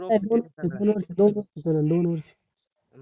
दोन वर्ष दोन वर्ष दोन वर्ष चालेल दोन वर्